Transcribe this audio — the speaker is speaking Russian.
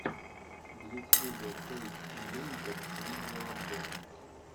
в ютьюбе тойс анлимитед видеообзор